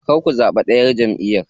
Kar ku zaɓi ɗayar jamʼiyar.